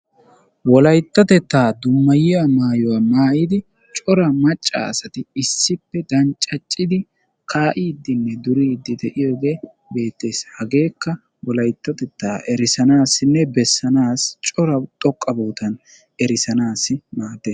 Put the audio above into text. wolayttatettaa dummayiyaa mayuwaa maayidi coora macca asati issippe daccaccidi ka"iidinne duriiddi de'iyoogee bettees. hageeka wolayttettaa erisanasinne bessanaasi coora xooqqa bootan erissanaasi maaddees.